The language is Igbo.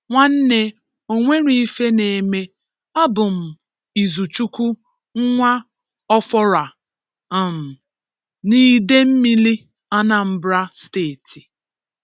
Nwanne o nwerọ ife na-eme, abụm Izuchukwu Nwa Ọforah um n'Idemmili, Anambra Steeti.